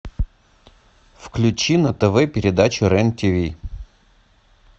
включи на тв передачу рен тв